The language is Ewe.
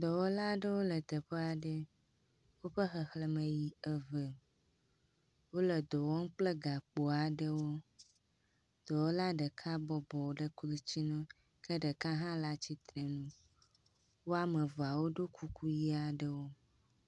Dɔwɔla aɖewo le teƒe aɖe. Woƒe xexlẽme yi eve. Wole dɔ wɔm kple gakpo aɖewo. Dɔwɔla ɖeka bɔbɔ ɖe klotsinu ke ɖeka hã le tsitre nu. Woameve woɖo kuku ʋi aɖewo.